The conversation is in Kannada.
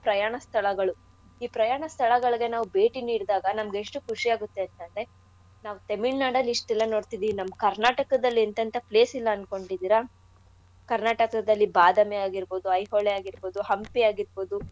ಪ್ರಯಾಣ ಸ್ಥಳಗಳು. ಈ ಪ್ರಯಾಣ ಸ್ಥಳಗಳ್ಗೆ ನಾವ್ ಬೇಟಿ ನೀಡ್ದಾಗ ನಮ್ಗೆಷ್ಟು ಖುಷಿ ಆಗತ್ತೆೇಂತ ಅಂದ್ರೆ ನಾವ್ ತೆಮಿಳ್ನಾಡಲ್ ಇಷ್ಟೆಲ್ಲಾ ನೋಡ್ತಿದೀವ್ ನಮ್ ಕರ್ನಾಟಕದಲ್ ಎನ್ತೆಂತ place ಇಲ್ಲ ಅನ್ಕೊಂಡಿದೀರ? ಕರ್ನಾಟಕದಲ್ಲಿ ಬಾದಾಮಿ ಆಗಿರ್ಬೌದು ಐಹೊಳೆ ಆಗಿರ್ಬೌದು ಹಂಪಿ ಆಗಿರ್ಬೌದು.